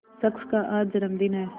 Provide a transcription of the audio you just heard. शख्स का आज जन्मदिन है